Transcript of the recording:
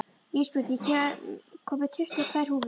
Ísbjörn, ég kom með tuttugu og tvær húfur!